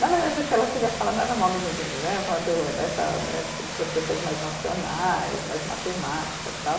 Na verdade, o que ela queria falar não era mal dos engenheiros, era falar do dessa né, das pessoas mais racionais, mais matemáticas, tal.